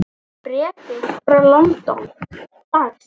Bréf þitt frá London, dags.